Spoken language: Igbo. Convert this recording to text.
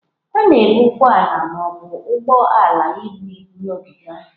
A na-ebu ụgbọ ala ma ọ bụ ụgbọ ala ibu ibu na ogige ahụ.